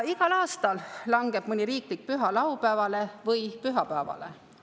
Igal aastal langeb mõni riiklik püha laupäevale või pühapäevale.